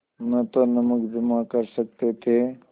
न तो नमक जमा कर सकते थे